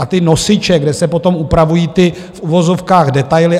A ty nosiče, kde se potom upravují ty v uvozovkách detaily.